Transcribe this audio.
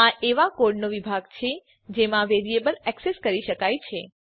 આ એવાં કોડનો વિભાગ છે જેમાં વેરીએબલ એક્સેસ કરી શકાય છે